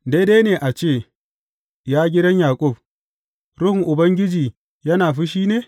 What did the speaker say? Daidai ne a ce, ya gidan Yaƙub, Ruhun Ubangiji yana fushi ne?